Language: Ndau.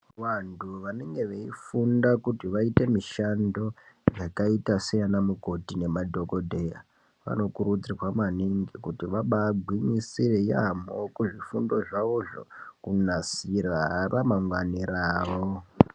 Vantu vanenge veifunda kuti vaite mishando yakaite seyaanamukoti nemadhokodheya vanokurudzirwa maningi kuti vabaagwinyisire yaamho kuzvifundo zvavozvo kunasira ramangwani ravo.